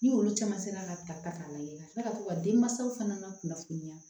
Ni olu caman sera ka ta k'a lajɛ ka kila ka to ka denmansaw fana kunnafoniya